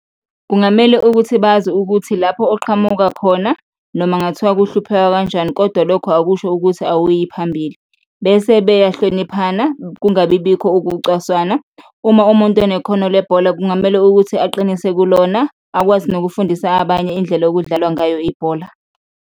Kungamele ukuthi bazi ukuthi lapho oqhamuka khona noma kungathiwa kuhluphekwa kanjani kodwa lokhu akusho ukuthi awuyi phambili bese beyahloniphana, kungabibikho ukucaswana, uma umuntu enekhono lebhola kungamele ukuthi aqinise kulona, akwazi nokufundisa abanye indlela ekudlalwa ngayo ibhola.